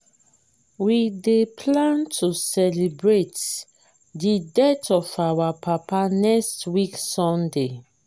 we dey plan to celebrate the death of our papa next week sunday